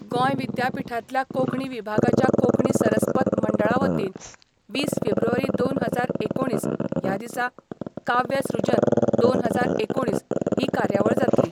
गोंय विद्यापिठांतल्या कोंकणी विभागाच्या कोंकणी सरस्पत मंडळा वतीन वीस फेब्रुवारी दोन हजार एकुणीस ह्या दिसा काव्य सृजन दोन हजार एकुणीस ही कार्यावळ जातली.